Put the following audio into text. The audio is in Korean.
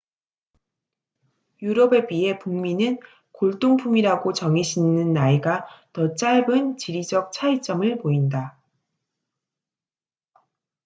유럽에 비해 북미는 골동품이라고 정의 짓는 나이가 더 짧은 지리적 차이점을 보인다